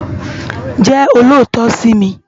Jè ólótò si mi